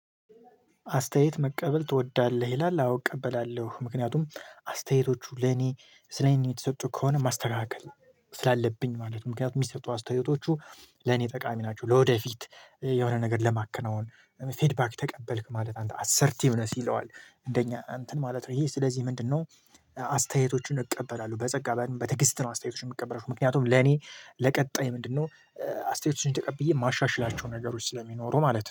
አስተያየት መቀበል ትወዳለህ ይላል አውቅ እቀበላለሁ ምክንያቱም አስተያየቶቹ ለኔ ስለኔ የሚሰጡ ከሆነ ማስተካከል ስላለብኝ ማለት ነው። ምክንያቱም የሚሰጡ አስተያየቶቹ ለኔ ጠቃሚ ናቸው። ወደፊት የሆነ ነገር ለማከናወን ፌድባክ ተቀበልክ ማለት አንተ አሰርቲቭ ነህ። ሲለዋል እንደኛ እንትን ማለት ነው ይሄ ስለዚህ ምንድነው? አስተያየቶቹን እቀበላለሁ በጸጋ በትግስት ነው። አስተያየቶች የምቀበረው ምክንያቱም ለኔ ለቀጣይ ምንድነው? አስተያየቶችን ተቀብዬ ማሻሻላቸው ነገሮች ስለሚኖሩ ማለት ነው